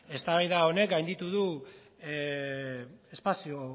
eztabaida honek gainditu du espazio